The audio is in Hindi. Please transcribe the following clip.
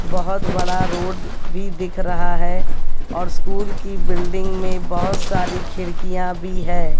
बहोत बड़ा रोड भी दिख रहा है और स्कूल की बिल्डिंग में बहोत सारी खिड़कियां भी है।